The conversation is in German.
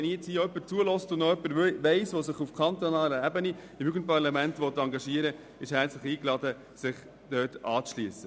Wenn jetzt jemand zuhört und sich engagieren möchte, ist er herzlich eingeladen, sich dort anzuschliessen.